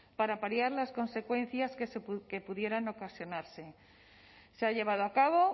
para paliar las consecuencias que pudieran ocasionarse se ha llevado a cabo